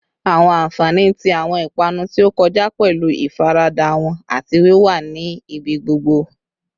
Awọn anfani ti awọn ipanu ti o kọja pẹlu ifarada wọn ati wiwa ni ibigbogbo